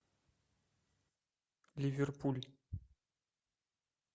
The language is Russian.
ливерпуль